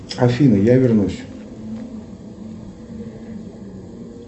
афина я вернусь